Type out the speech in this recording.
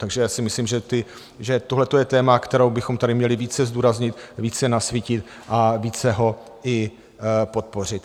Takže já si myslím, že tohle je téma, které bychom tady měli více zdůraznit, více nasvítit a více ho i podpořit.